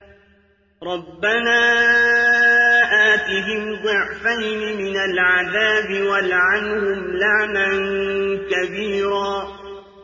رَبَّنَا آتِهِمْ ضِعْفَيْنِ مِنَ الْعَذَابِ وَالْعَنْهُمْ لَعْنًا كَبِيرًا